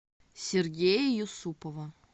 сергея юсупова